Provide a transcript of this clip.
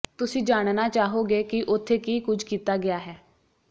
ਤੁਸੀਂ ਜਾਣਨਾ ਚਾਹੋਗੇ ਕਿ ਉੱਥੇ ਕੀ ਕੁਝ ਕੀਤਾ ਗਿਆ ਹੈ